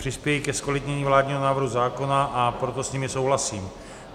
Přispějí ke zkvalitnění vládního návrhu zákona, a proto s nimi souhlasím.